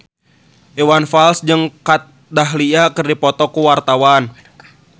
Iwan Fals jeung Kat Dahlia keur dipoto ku wartawan